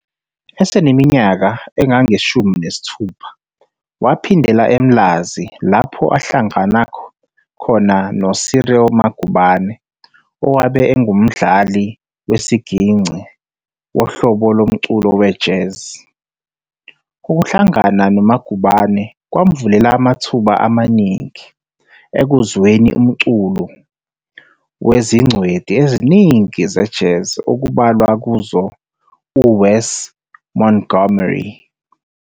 Eseniminyaka engama-16 waphindela eMlazi lapho ahlangana noCyril Magubane owabe engumdlali wesigingci wohlobo lomculo we-Jazz. Ukuhlangana noMagubane kwamvulela amathuba amaningi ekuzweni umculo wezingcweti eziningi ze-Jazz okubalwa kuzo u-Wes Montgomery.